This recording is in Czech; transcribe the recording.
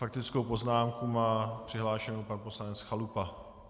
Faktickou poznámku má přihlášenu pan poslanec Chalupa.